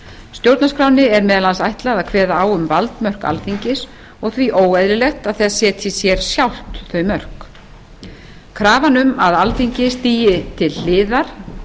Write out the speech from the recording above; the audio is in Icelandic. stjórnarskránni er meðal annars ætlað að kveða á um valdmörk alþingis og því óeðlilegt að það setji sér sjálft þau mörk krafan um að alþingi til hliðar